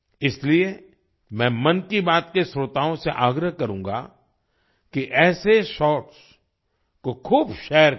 इसलिए मैं मन की बात के श्रोताओं से आग्रह करूँगा कि ऐसे शॉर्ट्स को खूब शेयर करें